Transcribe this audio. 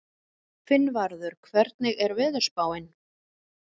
Finnvarður, hvernig er veðurspáin?